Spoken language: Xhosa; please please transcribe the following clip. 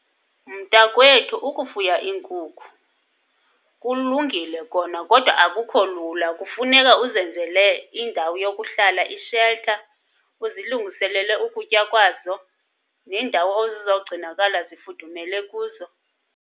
Mntakwethu, ukufuya iinkukhu kulungile kona kodwa akukho lula. Kufuneka uzenzele indawo yokuhlala, isheltha, uzilungiselele ukutya kwazo nendawo ezizawugcinakala zifudumele kuzo.